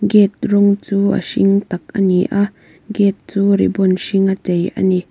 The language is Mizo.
gate rawng chu a hring tak ani a gate chu ribbon hring a chei ani.